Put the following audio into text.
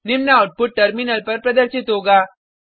निम्न output terminal पर प्रदर्शित होगा